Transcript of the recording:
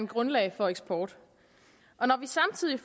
grundlag for eksport når vi samtidig